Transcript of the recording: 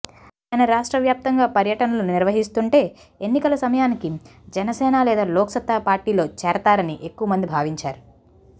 ఆయన రాష్ట్ర వ్యాప్తంగా పర్యటనలు నిర్వహిస్తుంటే ఎన్నికల సమయానికి జనసేన లేదా లోక్సత్తా పార్టీలో చేరతారని ఎక్కువ మంది భావించారు